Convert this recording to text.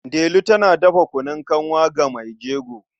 Delu tana dafa kunun kanwa ga mai jego.